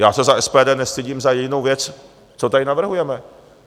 Já se za SPD nestydím za jedinou věc, co tady navrhujeme.